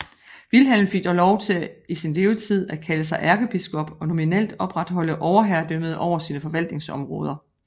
Wilhelm fik dog lov til i sin levetid at kalde sig ærkebiskop og nominelt opretholde overherredømmet over sine forvaltningsområder